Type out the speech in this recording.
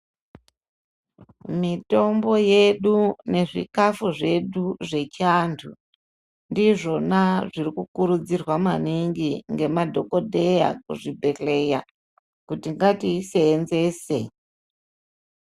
Mitombo yedu nezvikafu zvedu zvechiantu. Ndizvona zvirikukurudzirwa maningi ngemadhogodheya kuzvibhedhleya kuti ngatiisenzese.